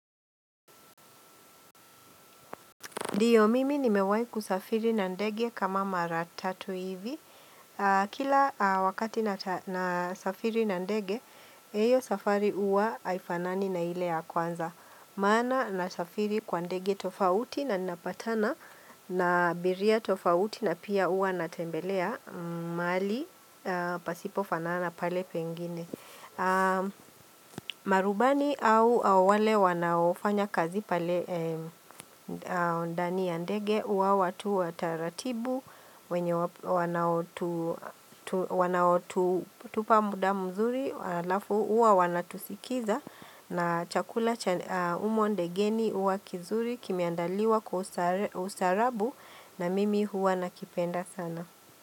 Dio mimi ni mewai kusafiri na ndege kama maratatu hivi. Kila wakati nasa na safiri na ndege, heyo safari uwa haifanani na ile ya kwanza. Maana na safiri kwa ndege tofauti na napatana na abiria tofauti na pia uwa natembelea mahali pasipofanana pale pengine. Marubani au awale wanaofanya kazi pale ndani andege hua watu wataratibu wenye wanaotu wanaotu tupa muda mzuri alafu uwa wanatusikiza na chakula cha umonde geni uwa kizuri kimeandaliwa kwa ustare ustaarabu na mimi uwa nakipenda sana.